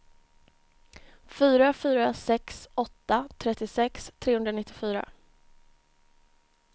fyra fyra sex åtta trettiosex trehundranittiofyra